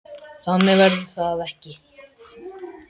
Þannig verður það ekki.